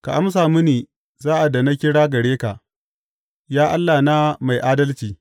Ka amsa mini sa’ad da na kira gare ka, Ya Allahna mai adalci.